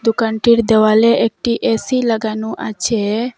দোকানটির দেওয়ালে একটি এ_সি লাগানো আছে।